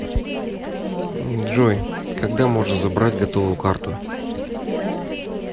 джой когда можно забрать готовую карту